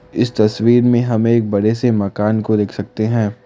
इस तस्वीर में हम एक बड़े से मकान को देख सकते है।